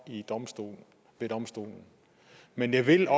en dom ved domstolene men jeg ville